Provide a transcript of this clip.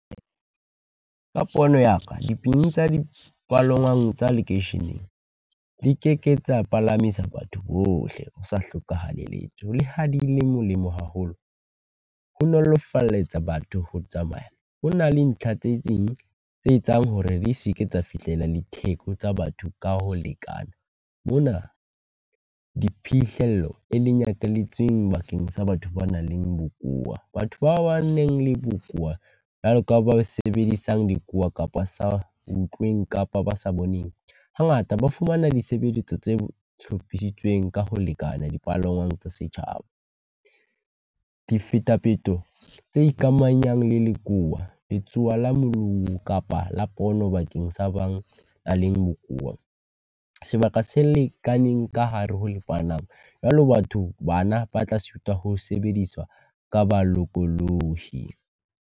Ka pono ya ka tsa dipalangwang tsa lekeisheneng, di keke tsa palamisa batho bohle ho sa hlokahale letho. Le ha di le molemo haholo. Ho nolofalletsa batho ho tsamaya, ho na le ntlha tse ding tse etsang hore di seke tsa fihlela le theko tsa batho ka ho lekana. Mona diphihlello e le nyakalletseng bakeng sa batho ba nang le bokowa, batho ba ba nang le bokowa, jwalo ka ba sebedisang dikowa kapa sa utlweng kapa ba sa boneng, hangata ba fumana disebeletso tse hlophisitsweng ka ho lekana dipalangwang tsa setjhaba. Difetafeto tse ikamahanyang le lekowa letsowa la kapa la pono bakeng sa bang a leng bokowa sebaka se lekaneng ka hare ho . Jwalo batho ba na ba tla sitwa ho sebediswa ka bolokolohi.